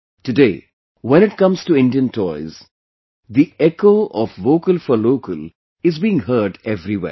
Today, when it comes to Indian toys, the echo of Vocal for Local is being heard everywhere